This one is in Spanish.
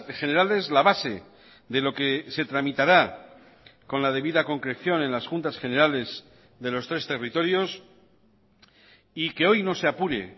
generales la base de lo que se tramitará con la debida concreción en las juntas generales de los tres territorios y que hoy no se apure